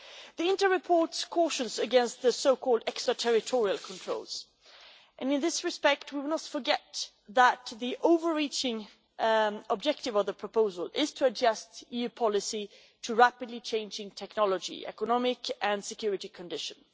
The INTA report cautions against so-called extra-territorial controls and in this respect we must not forget that the overarching objective of the proposal is to adjust EU policy to rapidly changing technology, economic and security conditions.